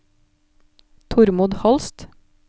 Tormod Holst